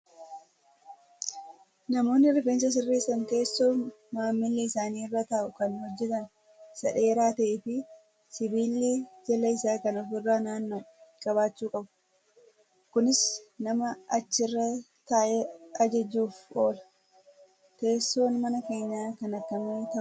Namoonni rifeensa sirreessan teessoo maamilli isaanii irra taa'u kan hojjatan isaa dheeraa ta'ee fi sibiilli jala isaa kan ofirra naanna'u qabaachuu qabu. Kunis nama achirra taa'e ajajuuf oola. Teessoon mana keenyaa kan akkami ta'uu qabaa?